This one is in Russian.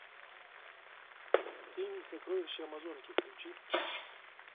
фильм сокровище амазонки включи